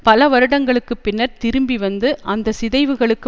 பல வருடங்களுக்கு பின்னர் திரும்பி வந்து அந்த சிதைவுகளுக்கு